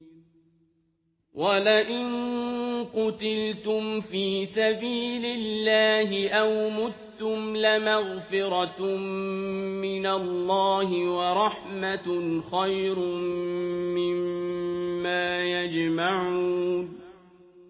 وَلَئِن قُتِلْتُمْ فِي سَبِيلِ اللَّهِ أَوْ مُتُّمْ لَمَغْفِرَةٌ مِّنَ اللَّهِ وَرَحْمَةٌ خَيْرٌ مِّمَّا يَجْمَعُونَ